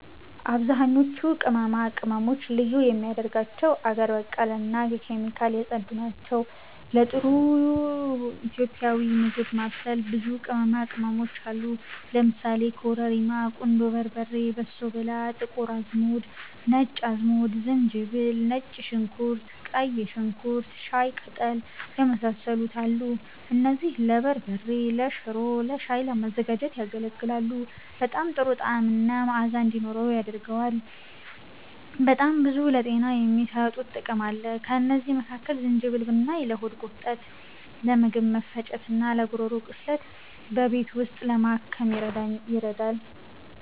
አብዛኞቹ ቅመማ ቅመም ልዩ የሚያደርጋቸው አገር በቀል እና ከኬሚካል የጸዱ ናቸው። ለጥሩ ኢትዮጵያዊ ምግብ ማብሰል ብዙ ቅመማ ቅመሞች አሉ ለምሳሌ፦ ኮረሪማ፣ ቁንዶ በርበሬ፣ በሶ ብላ፣ ጥቁር አዝሙድ፣ ነጭ አዝሙድ፣ ዝንጅብል፣ ነጭ ሽንኩርት፣ ቀይ ሽንኩርት፣ ሻይ ቀጠል፣ የመሳሰሉት አሉ። እነዚህም ለበርበሬ፤ ለሽሮ፣ ለሻይ ለማዘጋጀት ያገለግላል። በጣም ጥሩ ጣዕምና መአዛ እንዲኖርው ያደርገዋል። በጣም ብዙ ለጤና የሚሰጡትም ጥቅም አለ። ከእነዚህ መካከል ዝንጅብል ብናይ ለሆድ ቁርጠት፤ ለምግብ መፈጨት፣ እና ለጉሮሮ ቁስለት በቤት ውስጥ ለማከም ይረዳል